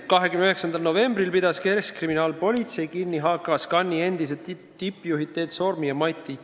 29. novembril pidas keskkriminaalpolitsei kinni HKScani endised tippjuhid Teet Soormi ja Mati Tuvi.